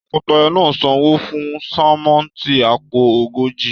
Tọkọtaya náà sanwó fún sánmọ́ntì àpò ogójì.